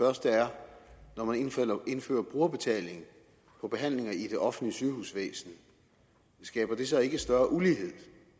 første er når man indfører brugerbetaling på behandlinger i det offentlige sygehusvæsen skaber det så ikke større ulighed